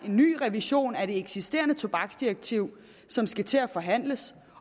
en ny revision af det eksisterende tobaksdirektiv som skal til at forhandles